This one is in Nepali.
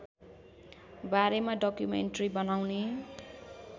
बारेमा डकुमेन्ट्री बनाउने